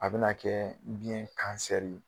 A be na kɛ biɲɛ kansɛri ye.